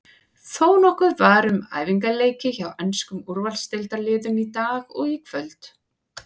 Þónokkuð var um æfingaleiki hjá enskum úrvalsdeildarliðum í dag og kvöld.